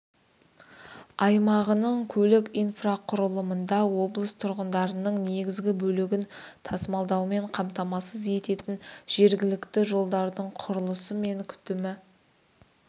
аймағының көлік инфрақұрылымында облыс тұрғындарының негізгі бөлігін тасымалдаумен қамтамасыз ететін жергілікті жолдардың құрылысы мен күтімі